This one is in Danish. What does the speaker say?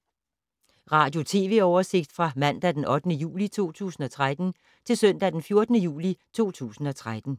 Radio/TV oversigt fra mandag d. 8. juli 2013 til søndag d. 14. juli 2013